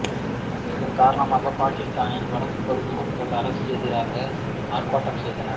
இதன் காரணமாக பாகிஸ்தானின் வடபகுதிகளில் மக்கள் அரசுக்கெதிராக ஆர்ப்பாட்டம் செய்தனர்